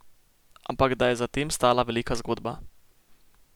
Ampak da je za tem stala velika zgodba.